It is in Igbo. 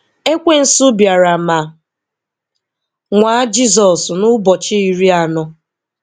Ekwensu bịara ma nwaa Jizọsn n'ụbọchị iri anọ.